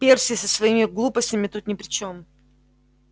перси со своими глупостями тут ни при чем